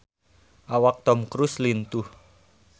Awak Tom Cruise lintuh